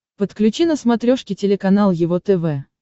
подключи на смотрешке телеканал его тв